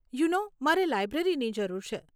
You know મારે લાઇબ્રેરીની જરૂર છે.